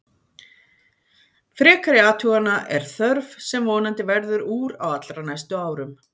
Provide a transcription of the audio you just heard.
Frekari athugana er þörf sem vonandi verður úr á allra næstu árum.